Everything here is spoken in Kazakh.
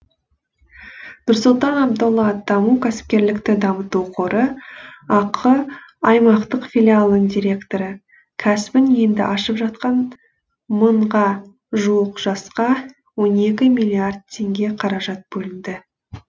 нұрсұлтан абдолла даму кәсіпкерлікті дамыту қоры ақ аймақтық филиалының директоры кәсібін енді ашып жатқан мыңға жуық жасқа он екі миллиард теңге қаражат бөлінді